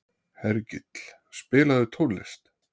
Hergill, spilaðu tónlist.